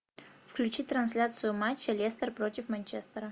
включи трансляцию матча лестер против манчестера